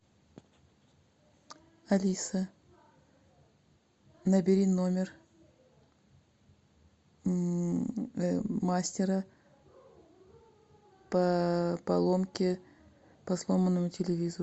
алиса набери номер мастера по поломке по сломанному телевизору